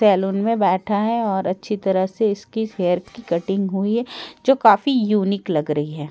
Salon में बैठे है और अच्छी तरह से इसके हेयर की कटिंग हुई है जो काफी यूनीक लग रही है।